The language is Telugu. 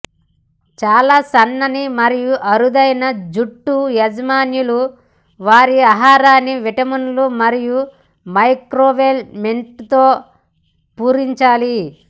చాలా సన్నని మరియు అరుదైన జుట్టు యజమానులు వారి ఆహారాన్ని విటమిన్లు మరియు మైక్రోలెమేంట్లతో పూరించాలి